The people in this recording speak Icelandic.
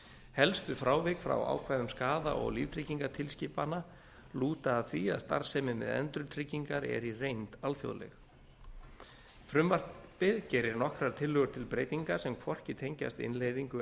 helstu frávik frá ákvæðum skaða og líftryggingatilskipana lúta að því að starfsemi með endurtryggingar er í reynd alþjóðleg frumvarpið gerir nokkrar tillögur til breytinga sem hvorki tengjast innleiðingu